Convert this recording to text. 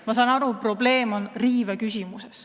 Ma saan aru, et probleem on riives.